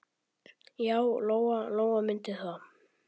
Já, Lóa-Lóa mundi það.